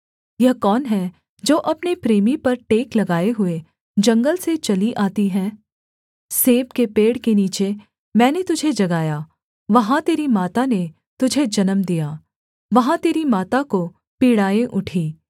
यह कौन है जो अपने प्रेमी पर टेक लगाए हुए जंगल से चली आती है सेब के पेड़ के नीचे मैंने तुझे जगाया वहाँ तेरी माता ने तुझे जन्म दिया वहाँ तेरी माता को पीड़ाएँ उठी